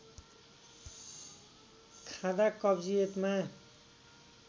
खाँदा कब्जियतमा